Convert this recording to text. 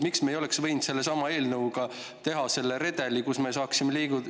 Miks me ei oleks võinud sellesama eelnõuga teha mingit sellist redelit?